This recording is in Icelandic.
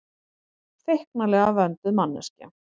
Feiknalega vönduð manneskja.